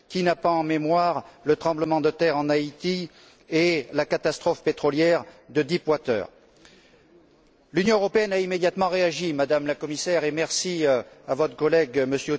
Qui n'a pas en mémoire le tremblement de terre en Haïti et la catastrophe pétrolière de Deep water? L'Union européenne a immédiatement réagi, Madame la Commissaire, et merci à votre collègue, M.